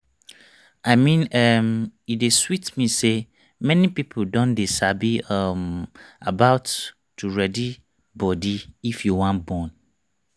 i mean[um]e dey sweet me say many people don dey sabi um about to ready body if you wan born